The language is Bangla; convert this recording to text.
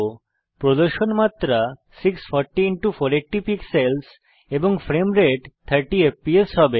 প্রদর্শন মাত্রা 640480 পিক্সেলস এবং ফ্রেম রেট 30এফপিএস হবে